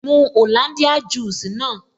Mu Hollandia juice naa